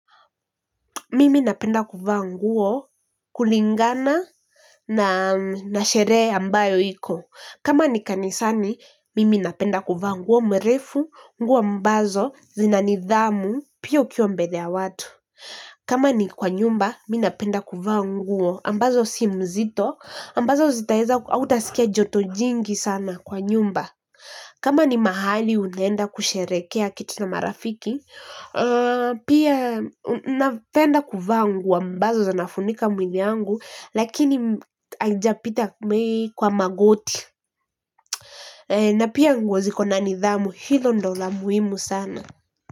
Mimi napenda kuvaa nguo kulingana na sherehe ambayo iko kama ni kanisani, mimi napenda kuvaa nguo mrefu, nguo ambazo, zina nidhamu, pia ukiwa mbele ya watu. Kama ni kwa nyumba, mi napenda kuvaa nguo ambazo si mzito, ambazo zitaeza, hautasikia joto jingi sana kwa nyumba. Kama ni mahali unaenda kusherekea kitu na marafiki pia napenda kuvaa nguo ambazo zinafunika mwili yangu lakini haijapita kwa magoti na pia nguo ziko na nidhamu, hilo ndo la muhimu sana.